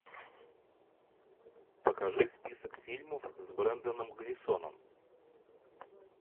покажи список фильмов с бренданом глисоном